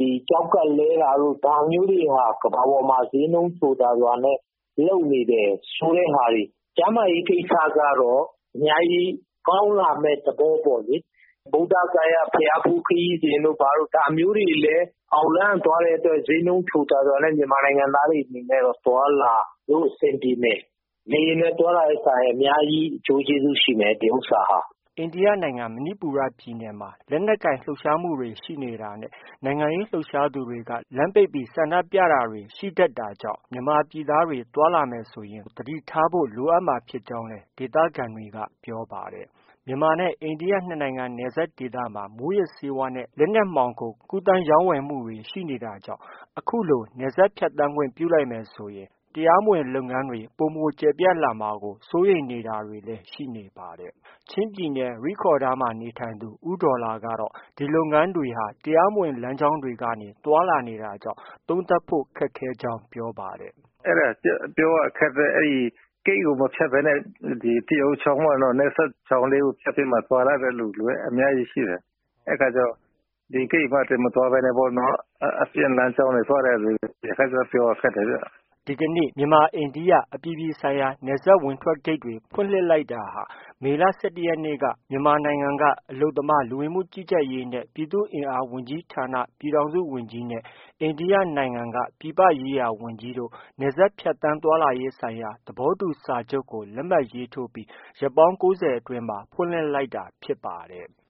၊ ကျောက်ကပ်လဲတာတို့ ဒါမျိုးတွေ ကမ္ဘာပေါ်မှာ ဈေးနှုန်းချိုသာစွာနဲ့ လုပ်နေတယ်ဆိုတဲ့ဟာတွေ ကျန်းမာရေးကိစ္စကတော့ အများကြီးကောင်းလာမယ့် သဘောပေါ့လေ။ ဗုဒ္ဓဂါယာဘုရားဖူးခရီးစဉ်တို့ ဘာတို့ ဒါမျိုးတွေလဲ အောက်လမ်းက သွားတဲ့အတွက် ဈေးနှုန်းချိုသာစွာနဲ့ မြန်မာနိုင်ငံသားတွေအနေနဲ့တော့ သွားလာလို့ အဆင်ပြေမယ်။ လေယာဉ်နဲ့သွားတာထက်စာရင် အများကြီး အကျိုးကျေးဇူးရှိမယ် ဒီဥစ္စာဟာ။” သွားလာရမှာ အိန္ဒိယနိုင်ငံ မဏိပူပြည်နယ်မှာ လက်နက်ကိုင်လှုပ်ရှားမှုတွေ ရှိနေတာနဲ့ နိုင်ငံရေးလှုပ်ရှားသူတွေက လမ်းပိတ်ပြီး ဆန္ဒပြတာတွေ ရှိနေတာကြောင့် မြန်မာပြည်သူသားတွေ သွားလာမယ်ဆို သတိထားဖို့ လိုအပ်မှာဖြစ်ကြောင့် ဒေသခံတွေက ပြောပါတယ်။ မြန်မာနဲ့ အိန္ဒိယနှစ်နိုင်ငံနယ်စပ်ဒေသမှာ မူးယစ်ဆေးဝါးနဲ့ လက်နက်မှောင်ခိုကူးသန်းရောင်းဝယ်မှုတွေ ရှိနေတာကြောင့် အခုလို နယ်စပ်ဖြတ်သန်းခွင့်ပြုလိုက်မယ်ဆို တရားမဝင်လုပ်ငန်းတွေ ပိုမိုကျယ်ပြန့်လာမှာကို စိုးရိမ်နေတာတွေလည်း ရှိပါတယ်။ ချင်းပြည်နယ် ရိဒ်ခေါရ်ဒါးမှာနေထိုင်သူ ဦးဒေါ်လာကတော့ ဒီလုပ်ငန်းတွေဟာ တရားမဝင်လမ်းကြောင်းတွေက သွားလာနေတာကြောင့် သုံးသပ်ဖို့ ခက်ခဲကြောင်း ပြောပါတယ်။ “ အဲဒါ ပြောရခက်တယ်။ အဲဒီဂိတ်ကို မဖြတ်ဘဲနဲ့ ဒီတီအိုချောင်းတို့နယ်စပ်ချောင်းလေးကို ဖြတ်ပြီး သွားတဲ့လူတွေ အများကြီးရှိတယ်။ အဲဒီအခါကျတော့ ဒီဂိတ်ကနေ မသွားဘဲနဲ့ အပြင်လမ်းကြောင်းကနေ သွားတဲ့လူတွေကျ ပြောရခက်တယ်ဗျ။ ” ဒီကနေ့ မြန်မာ-အိန္ဒိယ အပြည်ပြည်ဆိုင်ရာ နယ်စပ် ဝင်၊ထွက်ဂိတ်တွေဖွင့်လှစ်လိုက်တာဟာမေလ ရက်နေ့က မြန်မာနိုင်ငံက အလုပ်သမား၊ လူဝင်မှုကြီးကြပ်ရေးနှင့် ပြည်သူ့အင်အား ဝန်ကြီးဌာန ပြည်ထောင်စုဝန်ကြီးနှင့် အိန္ဒိယနိုင်ငံ ပြည်ပရေးရာဝန်ကြီးတို့ နယ်စပ်ဖြတ်သန်း သွားလာရေးဆိုင်ရာ သဘောတူ စာချုပ်ကို လက်မှတ်ရေးထိုးပြီး ရက်ပေါင်း အတွင်း ဖွင့်လှစ်လိုက်တာဖြစ်ပါတယ်။